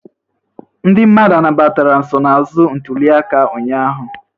Ndị mmadụ anabatara nsonaazụ ntuliaka ụnyahụ?